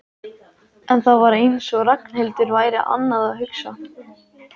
En það var eins og Ragnhildur væri annað að hugsa.